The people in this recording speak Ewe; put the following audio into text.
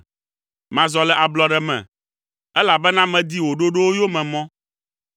Mazɔ le ablɔɖe me, elabena medi wò ɖoɖowo yomemɔ.